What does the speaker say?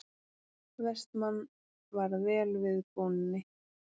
Vestmann varð vel við bóninni.